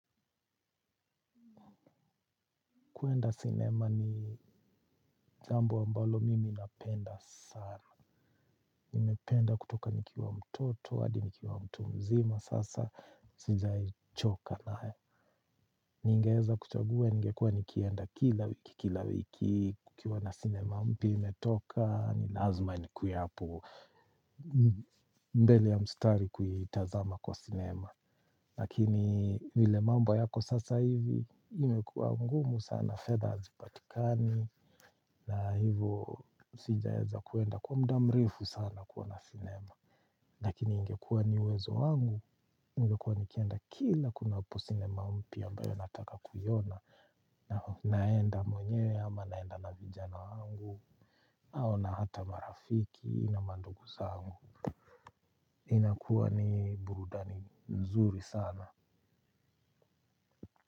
Kuenda cinema ni jambo ambalo mimi napenda sana nimependa kutoka nikiwa mtoto, hadi nikiwa mtu mzima sasa. Sijai choka nayo. Ningeza kuchagua, ningekua nikienda kila wiki, kila wiki. Kukiwa na cinema mpia imetoka, nilazima nikuwe hapo. Mbele ya mstari kuitazama kwa cinema. Lakini vile mamba yako sasa hivi imekuwa mgumu sana fedha azipatikani. Na hivo sijaeza kuenda kwa mda mrefu sana kuona cinema. Lakini ingekuwa ni uwezo wangu ningekuwa nikienda kila kunapo cinema mpia ambayo nataka kuyona. Naenda mwenyewe ama naenda na vijana wangu. Ao na hata marafiki na mandugu zangu. Inakuwa ni burudani nzuri sana.